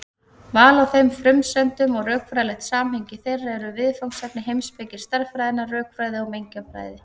Val á þeim frumsendum og rökfræðilegt samhengi þeirra eru viðfangsefni heimspeki stærðfræðinnar, rökfræði og mengjafræði.